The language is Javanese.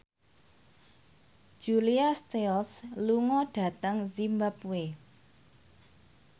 Julia Stiles lunga dhateng zimbabwe